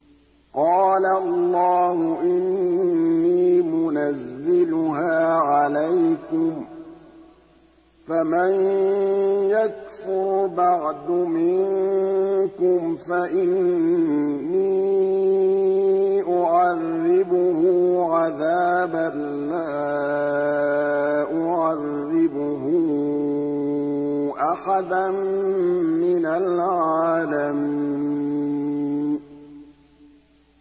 قَالَ اللَّهُ إِنِّي مُنَزِّلُهَا عَلَيْكُمْ ۖ فَمَن يَكْفُرْ بَعْدُ مِنكُمْ فَإِنِّي أُعَذِّبُهُ عَذَابًا لَّا أُعَذِّبُهُ أَحَدًا مِّنَ الْعَالَمِينَ